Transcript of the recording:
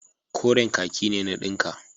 Koren kaki ne na dinka.